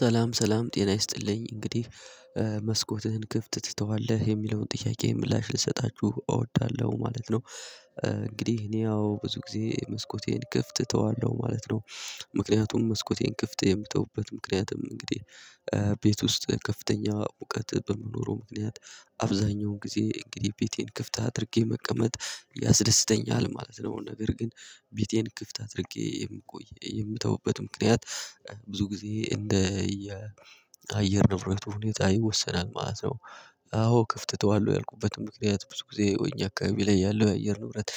ሰላም ሰላም ጤና ይስጥልኝ እንግዲህ መስኮትህን ክፍት ትተዋለህ? የሚለውን ጥያቄ ምላሽ ልሰጣችሁ እወዳለሁ ማለት ነው። እንግዲህ እኔ ያው ብዙ ጊዜ መስኮቴን ክፍት እተዋለሁ ማለት ነው። ምክንያቱም መስኮቴን ክፍት የምተውበት ምክንያትም እንግዲህ ቤት ውስጥ ከፍተኛ ሙቀት በመኖሩ ምክንያት አብዛኛውን ጊዜ እንግዲህ ቤቴን ክፍት አድርጌ መቀመጥ ያስደስተኛል ማለት ነው። ነገር ግን ቤቴን ክፍት አድርጌ የምቆይ የምተውበት ምክንያት ብዙ ጊዜ እንደ አየር ንብረት ሁኔታ ይወሰናል ማለት ነው። አዎ ክፍት እተዋለሁ ያልኩበትን ምክንያት ብዙ ጊዜ ወይኛ አካባቢ ላይ ያለው የአየር ኑረት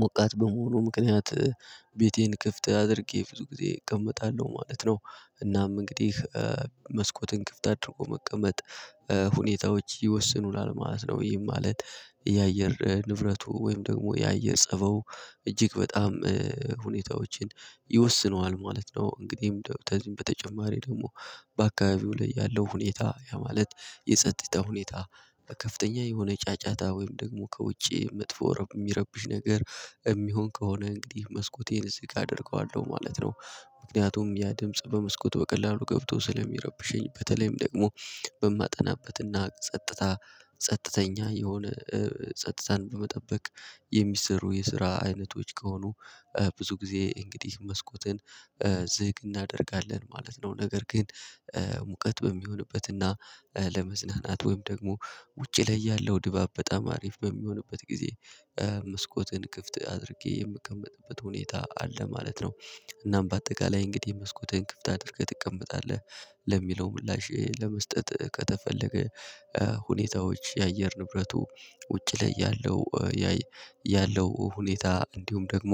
ሞቃት በመሆኑ ምክንያት ቤቴን ክፍት አድርጌ ብዙ ጊዜ እቀመጣለሁ ማለት ነው። እናም እንግዲህ መስኮትን ክፍት አድርጎ መቀመጥ ሁኔታዎች ይወስኑናል ማለት ነው። ወይም ማለት የአየር ንብረቱ ወይም ደግሞ የአየር ጸባው እጅግ በጣም ሁኔታዎችን ይወስነዋል ማለት ነው። እንግዲህ በተጨማሪ ደግሞ በአካባቢው ላይ ያለው ሁኔታ ያ ማለት የጸጥታ ሁኔታ በከፍተኛ የሆነ ጫጫታ ወይም ደግሞ ከውጪ መጥፎ የሚረብሽ ነገር የሚሆን ከሆነ እንግዲህ መስኮቴን ዝግ አደርገዋለሁ ማለት ነው። ምክንያቱም ያ ድምጽ በመስኮቱ በቀላሉ ገብቶ ስለሚረብሸኝ በተለይም ደግሞ በማጠናበትና ጸጥታ ጸጥተኛ የሆነ ጸጥታን በመጠበቅ የሚሰሩ የስራ አይነቶች ከሆኑ ብዙ ጊዜ እንግዲህ መስኮትን ዝግ እናደርጋለን ማለት ነው። ነገር ግን ሙቀት በሚሆንበትና ለመዝናናት ወይም ደግሞ ውጪ ላይ ያለው ድባብ በጣም አሪፍ በሚሆንበት ጊዜ መስኮትን ክፍት አድርጌ የምቀመጥበት ሁኔታ አለ ማለት ነው። እናም በአጠቃላይ እንግዲህ መስኮትህን ክፍት አድርገህ ትቀመጣለህ ለሚለው ምላሽ ለመስጠት ከተፈለገ ሁኔታዎች የአየር ንብረቱ ውጪ ላይ ያለው ያለው ሁኔታ እንዲሁም ደግሞ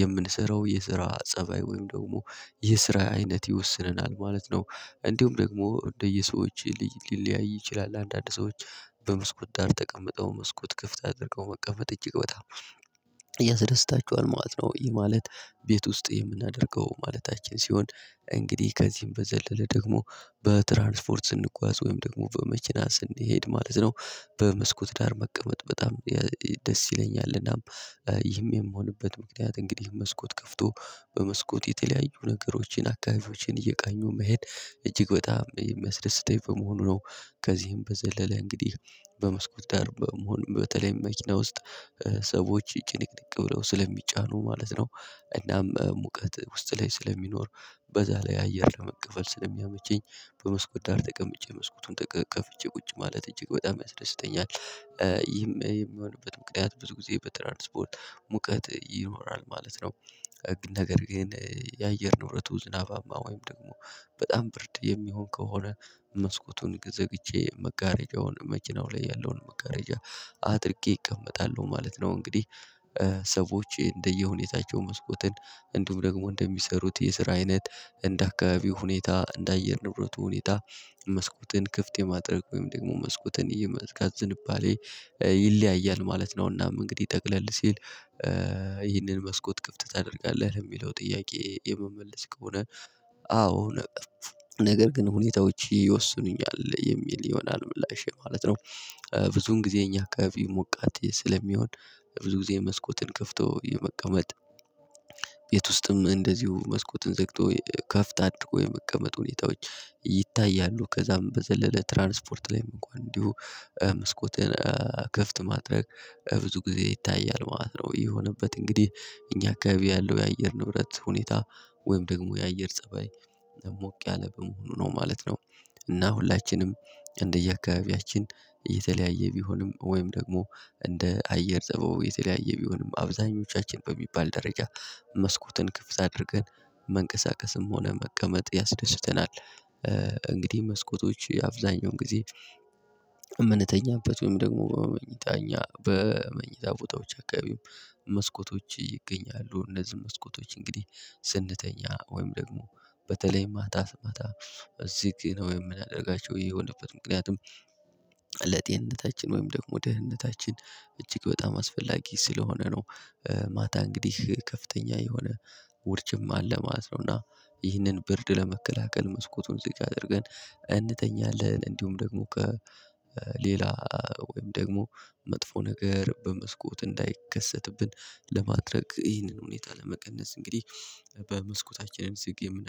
የምንሰራው የስራ ፀባይ ወይም ደግሞ የስራ አይነት ይወስነናል ማለት ነው። እንዲሁም ደግሞ እንደየሰዎች ሊለያይ ይችላል አንዳንድ ሰዎች በመስኮት ዳር ተቀምጠው መስኮት ክፍት አድርገው መቀመጥ እጅግ በጣም ያሰደስታቸዋል ማለት ነው። ይሄ ማለት ቤት ውስጥ የምናደርገው ማለታችን ሲሆን እንግዲህ ከዚህም በዘለለ ደግሞ በትራንስፖርት ስንጓዝ ወይም ደግሞ በመኪና ስንሄድ ማለት ነው። በመስኮት ዳር መቀመጥ በጣም ደስ ይለኛልናም ይህም የምሆንበት ምክንያት እንግዲህ መስኮት ከፍቶ በመስኮት የተለያዩ ነገሮችን አካባቢዎችን እየቃኙ መሄድ እጅግ በጣም የሚያስደስተኝ በመሆኑ ነው። ከዚህም በዘለለ እንግዲህ በመስኮት ደር ደርበ መሆን በተለይም መኪና ውስጥ ሰዎች ይጭንቅንቅ ብለው ስለሚጫኑ ማለት ነው። እናም ሙቀት ውስጥ ላይ ስለሚኖር በዛ ላይ አየር ለመቀፈል ስለሚያመቸኝ በመስኮት ዳር ተቀምጬ መስኮቱን ተቀቅቼ ቁጭ ማለት እጅግ በጣም ያስደስተኛል ይህም የሚሆንበት ምክንያት ብዙ ጊዜ በትራንስፖር ስፖርት ሙቀት ይኖራል ማለት ነው። ህግ ነገር ግን የአየር ኑሮቱ ዝናባማ ወይም ደግሞ በጣም ብርድ የሚሆን ከሆነ መስኮቱን ዘግቼ መጋረጃውን መችናው ላይ ያለውን መጋረጃ አጥርቄ እቀመጣለሁ ማለት ነው። እንግዲህ ሰዎች እንደየሁኔታቸው መስኮትን እንዲሁም ደግሞ እንደሚሰሩት የስራ አይነት እንደ አካባቢው ሁኔታ እንደ አየር ንብረቱ ሁኔታ መስኮትን ክፍት የማድረግ ወይም ደግሞ መስኮትን የመዝጋት ዝንባሌ ይለያያል ማለት ነውና። እንግዲህ ጠቅለል ሲል ይህንን መስኮት ክፍት ታደርጋለህ? ለሚለው ጥያቄ የመመለስ ከሆነ አዎ ነገር ግን ሁኔታዎች ይወስኑኛል የሚል ይሆናል ምላሽ ማለት ነው። ብዙውን ጊዜ እኛ አካባቢ ሞቃት ስለሚሆን ብዙ ጊዜ መስኮትን ከፍቶ የመቀመጥ ቤት ውስጥም እንደዚሁ መስኮትን ዘግቶ ከፍት አድርጎ የመቀመጥ ሁኔታዎች ይታያሉ ከዛም በዘለለ ትራንስፖርት ላይም እንኳን እንዲሁ መስኮትን ክፍት ማድረግ ብዙ ጊዜ ይታያል ማለት ነው። ይሄ የሆነበት እንግዲህ እኛ አካባቢ ያለው የአየር ንብረት ሁኔታ ወይም ደግሞ የአየር ፀባይ ሞቅ ያለ በመሆኑ ነው ማለት ነው። እና ሁላችንም እንደየአካባቢያችን እየተለያየ ቢሆንም ወይም ደግሞ እንደ አየር ጸበው የተለያየ ቢሆንም አብዛኞቻችን በሚባል ደረጃ መስኮትን ክፍት አድርገን መንቀሳቀስም ሆነ መቀመጥ ያስደስተናል። እንግዲህ መስኮቶች አብዛኛውን ጊዜ እምንተኛበት ወይም ደግሞ በመኝታ እኛ በመኝታ ቦታዎች አካባቢው መስኮቶች ይገኛሉ። እነዚህ መስኮቶች እንግዲህ ስንተኛ ወይም ደግሞ በተለይ ማታ ማታ እዚህ ጊዜ ነው የምናደርጋቸው የሆነበት ምክንያቱም ለጤንነታችን ወይም ደግሞ ደህንነታችን እጅግ በጣም አስፈላጊ ስለሆነ ነው። ማታ እንግዲህ ከፍተኛ የሆነ ውድጅም አለ ማለት ነው። እና ይህንን ብርድ ለመከላከል መስኮቱን እዚህ አድርገን እንተኛለን እንዲሁም ደግሞ ከሌላ ወይም ደግሞ መጥፎ ነገር በመስኮት እንዳይከሰትብን ለማድረግ ይህንን ሁኔታ ለመቀነስ እንግዲህ በመስኮታችንም ዝግ የምናደርገው